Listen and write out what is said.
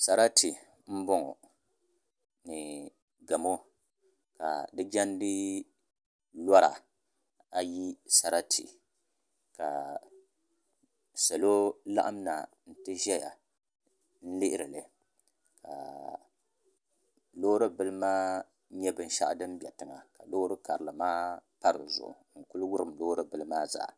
Sarati n bɔŋɔ ni gamo ka di jɛndi lora ayi sarati ka salo laɣam na n ti ʒɛya lihiri li ŋɔ ka loori bili maa nyɛ binshaɣu din dɔ tiŋa ka loori karili maa pa dizuɣu n ku wurim loori bili maa zaa